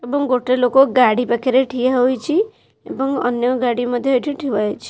ଏବଂ ଗୋଟେ ଲୋକ ଗାଡ଼ି ପାଖରେ ଠିଆ ହୋଇଛି ଏବଂ ଅନ୍ୟ ଗାଡ଼ି ମଧ୍ୟ ଏଠି ଥୁଆ ହେଇଛି।